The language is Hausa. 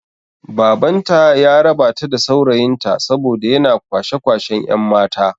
Baban ta ya raba ta da saurayin ta saboda yana kwashe kwashen yan' mata.